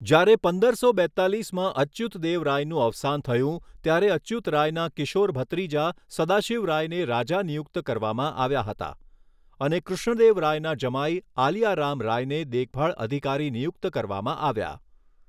જ્યારે પંદરસો બેત્તાલીસમાં અચ્યુત દેવ રાયનું અવસાન થયું, ત્યારે અચ્યુત રાયના કિશોર ભત્રીજા સદાશિવ રાયને રાજા નિયુક્ત કરવામાં આવ્યા હતા, અને કૃષ્ણદેવ રાયના જમાઈ આલિયા રામ રાયને દેખભાળ અધિકારી નિયુક્ત કરવામાં આવ્યા.